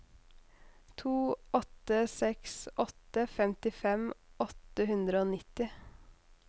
to åtte seks åtte femtifem åtte hundre og nitti